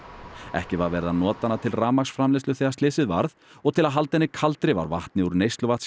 ekki var verið að nota hana til rafmagnsframleiðslu þegar slysið varð og til að halda henni kaldri var vatni úr